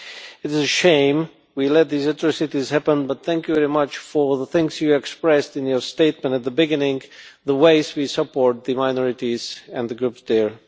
It is a shame we let these atrocities happen, but thank you very much for the things you expressed in your statement at the beginning about the ways we support the minorities and the groups there.